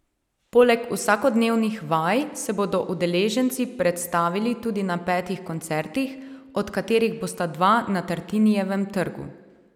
Poleg vsakodnevnih vaj se bodo udeleženci predstavili tudi na petih koncertih, od katerih bosta dva na Tartinijevem trgu.